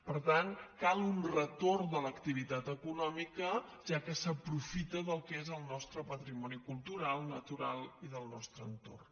per tant cal un retorn de l’activitat econòmica ja que s’aprofita del que és el nostre patrimoni cultural natural i del nostre entorn